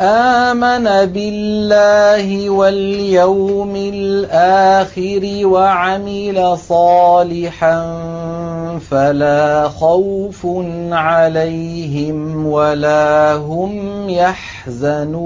آمَنَ بِاللَّهِ وَالْيَوْمِ الْآخِرِ وَعَمِلَ صَالِحًا فَلَا خَوْفٌ عَلَيْهِمْ وَلَا هُمْ يَحْزَنُونَ